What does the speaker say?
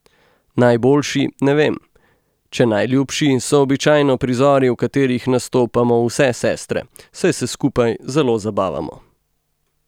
Najboljši, ne vem, če najljubši, so običajno prizori, v katerih nastopamo vse sestre, saj se skupaj zelo zabavamo.